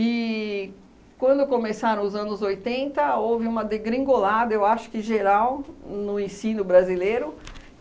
E quando começaram os anos oitenta, houve uma degringolada, eu acho que geral, no ensino brasileiro.